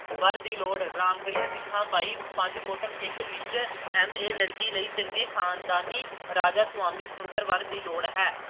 ਵਰ ਦੀ ਲੋੜ ਰਾਮਗੜ੍ਹੀਆਂ ਸਿੱਖਾਂ ਬਾਈ ਅਹ ਪੰਜ ਫੁੱਟ ਇੱਕ ਇੰਚ M. A. ਲੜਕੀ ਚੰਗੇ ਖ਼ਨਦਾਨੀ ਰਾਧੇ ਸੁਆਮੀ ਸੁੰਦਰ ਵਰ ਦੀ ਲੋੜ ਹੈ।